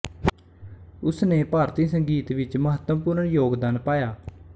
ਉਸ ਨੇ ਭਾਰਤੀ ਸੰਗੀਤ ਵਿੱਚ ਮਹੱਤਵਪੂਰਨ ਯੋਗਦਾਨ ਪਾਇਆ